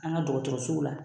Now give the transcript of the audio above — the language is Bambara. An ka dɔgɔtɔrɔsow la